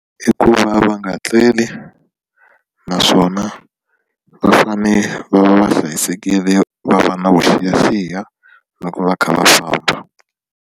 I ku va va nga tleli naswona va fane va va hlayisekile va va na vuxiyaxiya na ku va kha va famba.